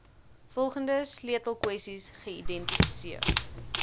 volgende sleutelkwessies geïdentifiseer